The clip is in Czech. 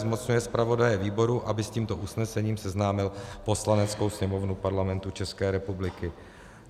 Zmocňuje zpravodaje výboru, aby s tímto usnesením seznámil Poslaneckou sněmovnu Parlamentu České republiky.